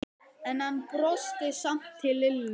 En hann brosti samt til Lillu.